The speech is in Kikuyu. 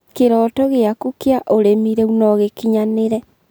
Kĩrooto gĩaku kĩa ũrĩmi rĩu no gĩkinyanĩre